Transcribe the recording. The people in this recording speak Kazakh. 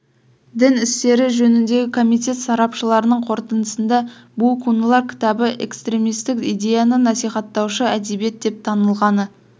дін істері жөніндегі комитет сарапшыларының қорытындысында бу кунлар кітабы экстремистік идеяны насихаттаушы әбедиет деп танылғаны